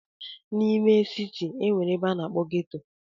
N'ime siti, e nwere ebe a na-akpọ ghetto.